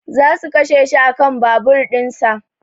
Za su kashe shi a kan babur in za